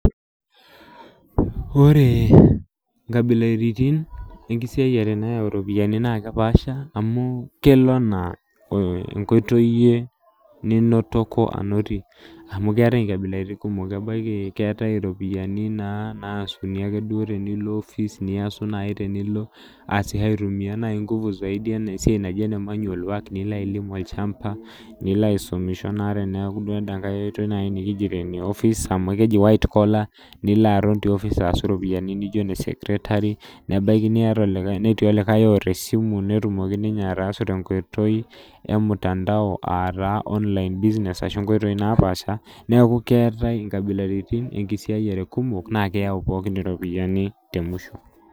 Ore nkabilaritin enkisiaiyiare nayau ropiyiani nakepaasha, amu kelo enaa enkoitoi iyie ninotoko anotie. Amu keetae inkabilaritin kumok ebaiki keetae ropiyiani naasuni ake duo tenilo office, niasu nai tenilo aasisho aitumia nai nguvu zaidi eneesiai naiji ene manual work nilo ailim olchamba, nilo aisumisho naa teneeku duo eda nkae oitoi nai nikijoto ene office, amu keji white collar, nilo aton te office aasu ropiyiani nijo ne secretary, nebaiki niata olikae netii olikae oota esimu netumoki ninye ataasu tenkoitoi emtandao ataa online business ashu nkoitoi napaasha, neeku keetae inkabilaritin enkisiaiyiare kumok, na keeu pookin iropiyiani temusho.